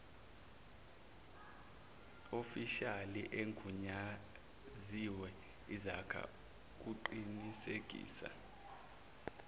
ofishali egunyaziwe izakuqinisekisa